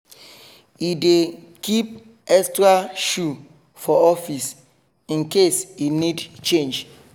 he dey keep extra shoe for office in case e need change